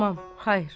İnanmam, xeyr.